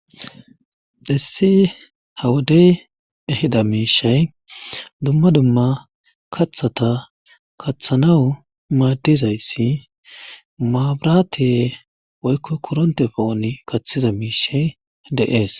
dhissi hawodey ehida miishay dumma dumma kathata kaththanawu maaddizayssi maabraate woykko koronte pooni kaththiza miishay deees